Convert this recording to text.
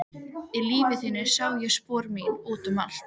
Í lífi þínu sá ég spor mín út um allt.